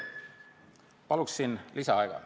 Palun lisaaega!